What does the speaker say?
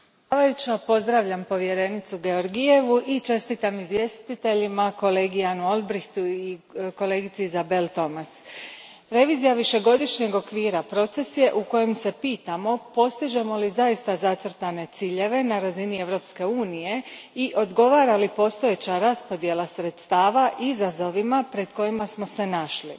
Poštovana predsjednice, pozdravljam povjerenicu Georgievu i čestitam izvjestiteljima kolegi Janu Olbrychtu i kolegici Isabelle Thomas. Revizija višegodišnjeg okvira proces je u kojem se pitamo postižemo li zaista zacrtane ciljeve na razini Europske unije i odgovara li postojeća raspodjela sredstava izazovima pred kojima smo se našli.